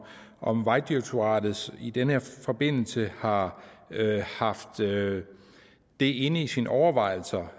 om vejdirektoratet i den her forbindelse har haft det det inde i sine overvejelser